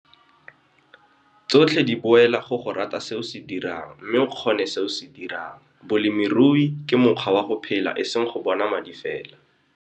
Tsotlhe di boela go go rata se o se dirang mme o kgone se o se dirang. Bolemirui ke mokgwa wa go phela e seng go bona madi fela.